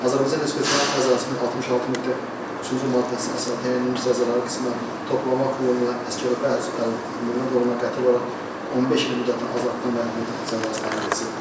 Azərbaycan Respublikasının cəzasının 66.3-cü maddəsinə toplamaq yolu ilə Əsgərov Bəhruz Əlməmmədoğluna qəti olaraq 15 il müddətinə azadlıqdan məhrum edilsin.